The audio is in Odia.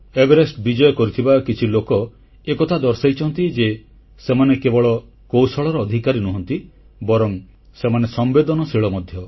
ଏଭେରେଷ୍ଟ ବିଜୟ କରିଥିବା କିଛି ଲୋକ ଏକଥା ଦର୍ଶାଇଛନ୍ତି ଯେ ସେମାନେ କେବଳ କୌଶଳର ଅଧିକାରୀ ନୁହନ୍ତି ବରଂ ସେମାନେ ସମ୍ବେଦନଶୀଳ ମଧ୍ୟ